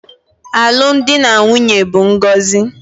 Alụmdi na nwunye bụ ngọzi